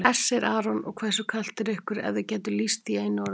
Hersir Aron: Og hversu kalt er ykkur ef þið gætuð lýst því í einu orði?